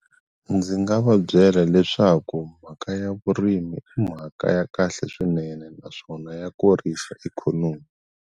Ndzi nga va byela leswaku mhaka ya vurimi i mhaka ya kahle swinene naswona ya kurisa ikhonomi.